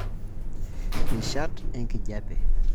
Rishat enkijape.